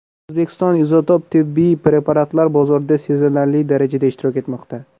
O‘zbekiston izotop tibbiy preparatlar bozorida sezilarli darajada ishtirok etmoqda.